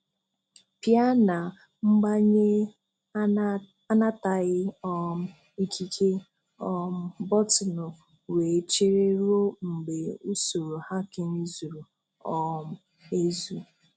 Pịa na "Mbanye anataghị um ikike!" um bọtịnụ wee chere ruo mgbe usoro hacking zuru um ezu.